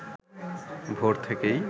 ভোর থেকেই